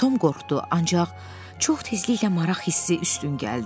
Tom qorxdu, ancaq çox tezliklə maraq hissi üstün gəldi.